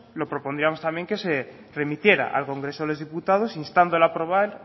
lo propondríamos también que se remitiera al congreso de los diputados instando al aprobar